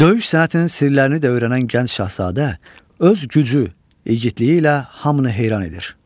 Döyüş sənətinin sirlərini də öyrənən gənc şahzadə öz gücü, igidliyi ilə hamını heyran edir.